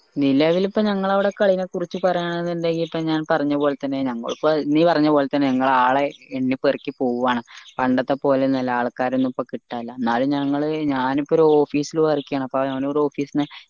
നിലവിൽ ഇപ്പൊ ഞങ്ങളവിടെ ക്ളീനെ കുറച്ച് പറയാണെങ്കിൽ ഇത് ഇപ്പൊ ഞാൻ പറഞ്ഞ പോൽ തന്നെ നീ പറഞ്ഞ പോൽ തന്നെ ഞങ്ങൾ ആളെ എണ്ണിപ്പെറുക്കി പോവാണ് പണ്ടത്തെപോലെയൊന്നുഅല്ല ആൾക്കാരെയൊന്നും ഇപ്പൊ കിട്ടാനല്ല എന്നാലും ഞങ്ങൾ ഞാൻ ഇപ്പോരു office ൽ work ചെയ്യാണ് അപ്പൊ ഒരു office ന്ന്